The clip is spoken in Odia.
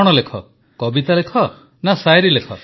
କଣ ଲେଖ କବିତା ଲେଖ ନା ଶାୟରି ଲେଖ